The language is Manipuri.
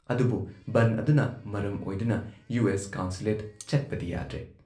ꯑꯗꯨꯕꯨꯨ ꯕꯟꯗ ꯑꯗꯨꯅ ꯃꯔꯝ ꯑꯣꯏꯗꯨꯅ ꯌꯨ ꯑꯦꯁ ꯀꯟꯁꯨꯂꯦꯠꯇ ꯆꯠꯄꯗꯤ ꯌꯥꯗ꯭ꯔꯦ ꯫